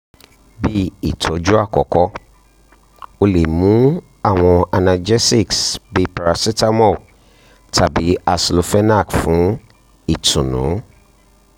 bi itọju akọkọ o le mu awọn analgesics bi paracetamol tabi aceclofenac fun itunu